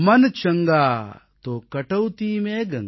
மன் சங்கா தோ கடௌதீ மேன் கங்கா